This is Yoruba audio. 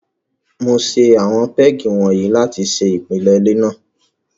Mo ṣe àwọn pégì wọ̀nyí láti ṣe ìpìlẹ ilé náà.